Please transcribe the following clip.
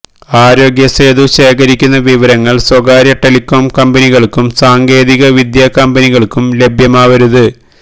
ആരോഗ്യ സേതു ശേഖരിക്കുന്ന വിവരങ്ങള് സ്വകാര്യ ടെലികോം കമ്പനികള്ക്കും സാങ്കേതിക വിദ്യാ കമ്പനികള്ക്കും ലഭ്യമാവരുത്